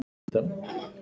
Þeir verða gufur.